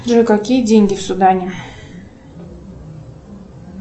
джой какие деньги в судане